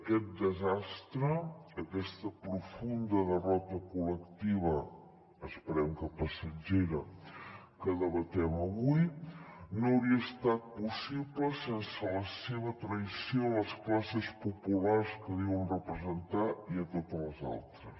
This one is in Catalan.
aquest desastre aquesta profunda derrota col·lectiva esperem que passatgera que debatem avui no hauria estat possible sense la seva traïció a les classes populars que diuen representar i a totes les altres